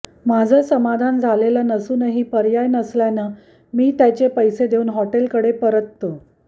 माझं समाधान झालेलं नसूनही पर्याय नसल्यानं मी त्याचे पैसे देऊन हॉटेलकडे परततो